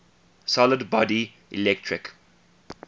solid body electric